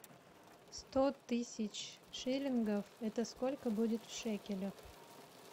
сто тысяч шиллингов это сколько будет в шекелях